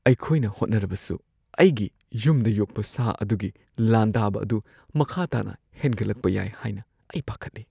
ꯑꯩꯈꯣꯏꯅ ꯍꯣꯠꯅꯔꯕꯁꯨ, ꯑꯩꯒꯤ ꯌꯨꯝꯗ ꯌꯣꯛꯄ ꯁꯥ ꯑꯗꯨꯒꯤ ꯂꯥꯟꯗꯥꯕ ꯑꯗꯨ ꯃꯈꯥ ꯇꯥꯅ ꯍꯦꯟꯒꯠꯂꯛꯄ ꯌꯥꯏ ꯍꯥꯏꯅ ꯑꯩ ꯄꯥꯈꯠꯂꯤ꯫